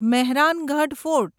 Mehrangarh fort